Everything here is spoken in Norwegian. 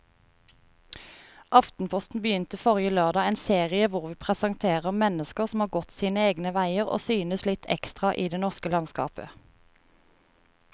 Aftenposten begynte forrige lørdag en serie hvor vi presenterer mennesker som har gått sine egne veier og synes litt ekstra i det norske landskapet.